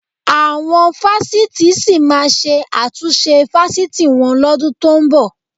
Àwọn fásitì sì máa ṣe àtúnṣe fásitì wọn lọ́dún tó ń bọ̀